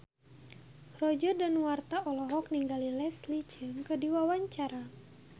Roger Danuarta olohok ningali Leslie Cheung keur diwawancara